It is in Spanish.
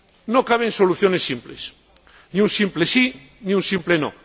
No caben soluciones simples ni un simple sí, ni un simple no.